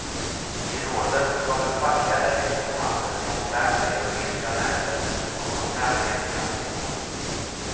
I rådet kommer fackliga representanter från fem europeiska länder och koncernledning att ingå.